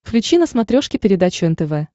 включи на смотрешке передачу нтв